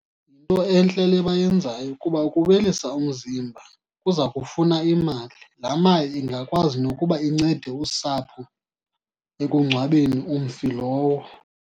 Yinto entle le bayenzayo kuba ukuwelisa umzimba kuza kufuna imali. Laa mali ingakwazi nokuba incede usapho ekungcwabeni umfi lowo.